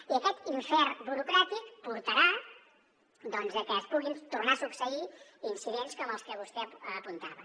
i aquest infern burocràtic portarà doncs que puguin tornar a succeir incidents com els que vostè apuntava